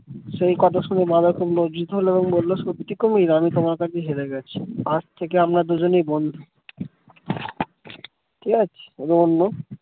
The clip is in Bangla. সে কথা শুনে বাঁদর খুব লজ্জিত হলো এবং বলল সত্যি কুমির আমি তোমার কাছে হেরে গেছি আজ থেকে আমরা দুজনেই বন্ধু ঠিক আছে এটা অন্য